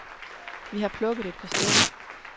Vi har plukket et par stykker.